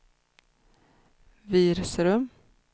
Virserum